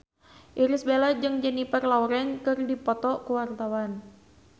Irish Bella jeung Jennifer Lawrence keur dipoto ku wartawan